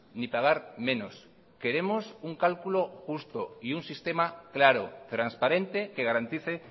ni pagar menos queremos un cálculo justo y un sistema claro transparente que garantice